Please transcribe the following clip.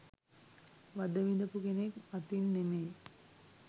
වද විඳපු කෙනෙක් අතින් නෙමෙයි